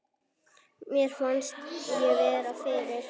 Mér fannst ég vera fyrir.